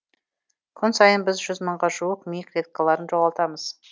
күн сайын біз жүз мыңға жуық ми клеткаларын жоғалтамыз